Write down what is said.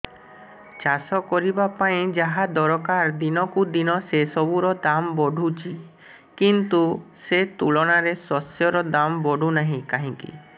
ଚାଷ କରିବା ପାଇଁ ଯାହା ଦରକାର ଦିନକୁ ଦିନ ସେସବୁ ର ଦାମ୍ ବଢୁଛି କିନ୍ତୁ ସେ ତୁଳନାରେ ଶସ୍ୟର ଦାମ୍ ବଢୁନାହିଁ କାହିଁକି